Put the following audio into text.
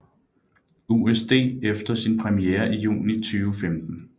USD efter sin premiere i juni 2015